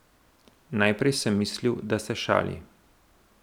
Najprej sem mislil, da se šali.